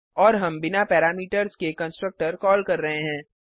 और हम बिना पैरामीटर्स के कंस्ट्रक्टर कॉल कर रहे हैं